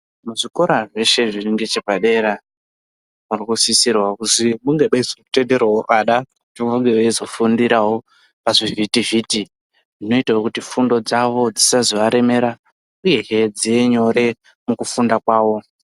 Muzvikora zveshe zviri ngechepadera arikusisirawo kuzi munge meizotenderawo ana kuti vange veizofundirawo pazvivhiti-vhiti zvinoita kuti fundo dzavo dzisazovaremera uyehe dzive nyore mukufunda kwavo.